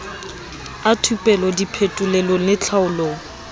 a thupelo diphetolelong le tlhaolong